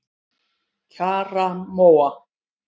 Kjarrmóa